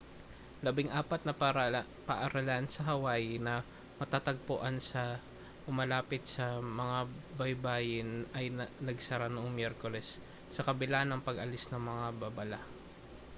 labing-apat na paaralan sa hawaii na matatagpuan sa o malapit sa mga baybayin ay nagsara noong miyerkules sa kabila ng pag-alis ng mga babala